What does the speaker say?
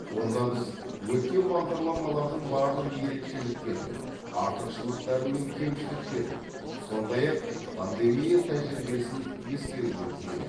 онда біз өткен бағдарламалардың барлық ерекшеліктерін артықшылықтары мен кемшіліктерін сондай ақ пандемия тәжірибесін ескергіміз келеді